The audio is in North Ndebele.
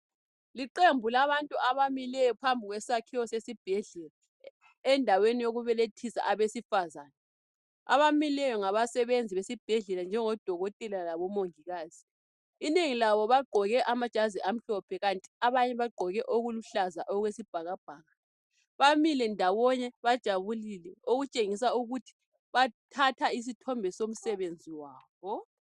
Liqembu labantu abamileyo phambi kwesakhiwo seSibhedlela endaweni yokubelethisa abesifazane abamileyo ngabasenzi besibhedlela njengo Dokotela labo Mongikazi inengi labo bagqoke amajazi amhlophe kanti abanye bagqoke okuluhlaza okwesibhakabhaka bamile ndawonye bajabulile okutshengisa ukuthi bathatha isithombe somsebenzi wabo